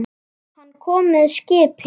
Hann kom með skipi.